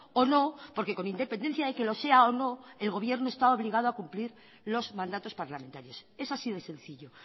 o no porque con independencia de que lo sea o no el gobierno está obligado a cumplir los mandatos parlamentarios es así de sencillo